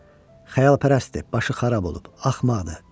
Xəyalpərəstdir, başı xarab olub, axmaqdır.